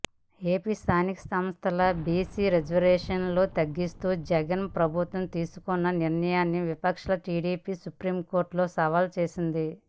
AP స్ధానిక సంస్ధల్ల BC రిజర్వేషన్లను తగ్గిస్తూ జగన్ ప్రభుత్వం తీసుకున్న నిర్ణయాన్ని విపక్ష టీడీపీ సుప్రీంకోర్టులో సవాలు చేసింది